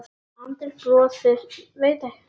Arndís brosir veikt.